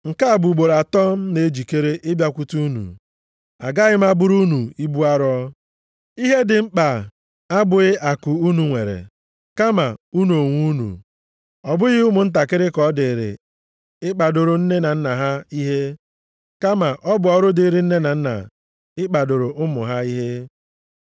Nke a bụ ugboro atọ m na-ejikere ịbịakwute unu. Agaghị m abụrụ unu ibu arọ, ihe dị m mkpa abụghị akụ unu nwere, kama unu onwe unu. Ọ bụghị ụmụntakịrị ka ọ dịrị ịkpadoro nne na nna ha ihe, kama ọ bụ ọrụ dịrị nne na nna ịkpadoro ụmụ ha ihe.